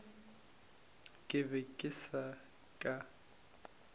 ke be ke se ka